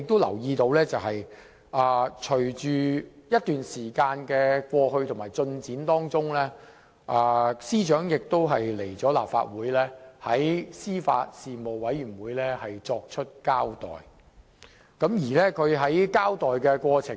然而，隨着時間過去，我留意到司長已在立法會司法及法律事務委員會會議上作出交代。在她的交代過程中......